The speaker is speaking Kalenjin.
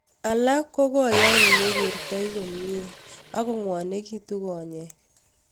Alak ko koyain mekerte komie ako ng'wanekitu konyek